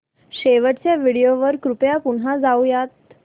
शेवटच्या व्हिडिओ वर कृपया पुन्हा जाऊयात